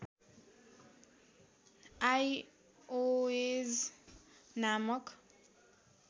iOS नामक